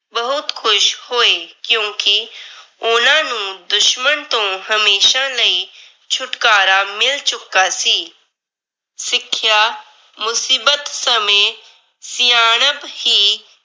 ਬਹੁਤ ਖੁਸ਼ ਹੋਏ ਕਿਉਂਕਿ ਉਹਨਾਂ ਨੂੰ ਦੁਸ਼ਮਨ ਤੋਂ ਹਮੇਸ਼ਾ ਲਈ। ਛੁਟਕਾਰਾ ਮਿਲ ਚੁੱਕਾ ਸੀ। ਸਿੱਖਿਆ ਮੁਸੀਬਤ ਸਮੇਂ ਸਿਆਣਪ ਹੀ